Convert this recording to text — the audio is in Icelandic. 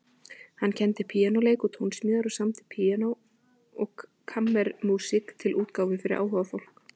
Hann kenndi píanóleik og tónsmíðar og samdi píanó- og kammermúsík til útgáfu fyrir áhugafólk.